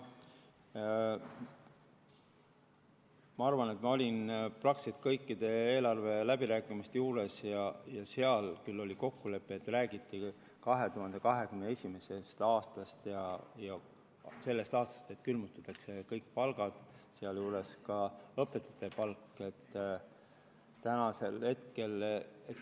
Ma arvan, et ma olin praktiliselt kõikide eelarve läbirääkimiste juures ja seal ja seal küll räägiti 2021. aastast ja oli kokkulepe, et sellest aastast külmutatakse kõik palgad, sealjuures ka õpetajate palk.